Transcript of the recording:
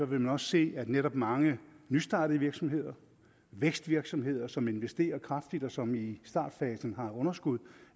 man også se at netop mange nystartede virksomheder vækstvirksomheder som investerer kraftigt og som i startfasen har underskud